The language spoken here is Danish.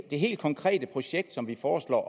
det helt konkrete projekt som vi foreslår